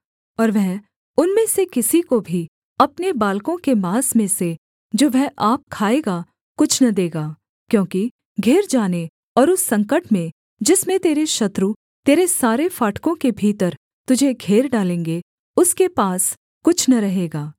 और वह उनमें से किसी को भी अपने बालकों के माँस में से जो वह आप खाएगा कुछ न देगा क्योंकि घिर जाने और उस संकट में जिसमें तेरे शत्रु तेरे सारे फाटकों के भीतर तुझे घेर डालेंगे उसके पास कुछ न रहेगा